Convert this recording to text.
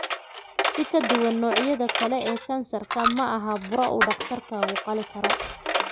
Si ka duwan noocyada kale ee kansarka, leukemia ma aha buro uu dhakhtarkaagu qali karo.